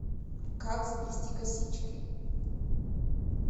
как заплести косички